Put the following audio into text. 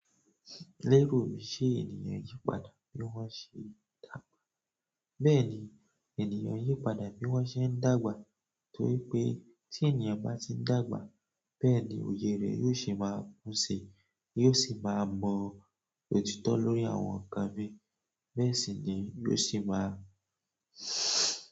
Lérò mi ṣé ènìyàn ń yí padà bí wọ́n ṣé ń dàgbà? Bẹ́ẹ̀ni ènìyàn ń yí padà bí wọ́n ṣé ń dàgbà torí pé tí ènìyàn bá ti ń dàgbà, bẹ́ẹ̀ ni òye rẹ̀ yóò ṣé máa kún síi, yóò sì máa mọ òtítọ́ lórí àwọn nǹkan míì, bẹ́ẹ̀ sì ni yóò sì máa.